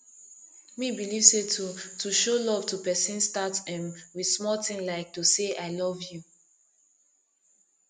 me believe say to to show love to pesin start um with small ting like to say i love you